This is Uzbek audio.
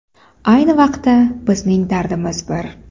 Ayni vaqtda, bizning dardimiz bir.